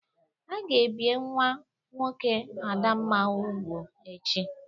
A ga-ebie nwa nwoke Adamna ubu echi.